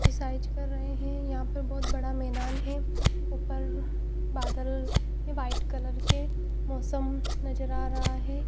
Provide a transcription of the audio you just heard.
Exercise कर रहे हैं यहां पर बहुत बड़ा मैदान है ऊपर बादल है वाइट कलर के मौसम नज़र आ रहा है।